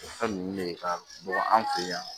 O fɛn ninnu de ka bɔ an fɛ yan